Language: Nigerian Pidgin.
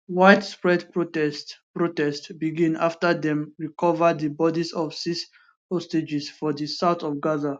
widespread protests protests begin afta dem recova di bodis of six hostages for di south of gaza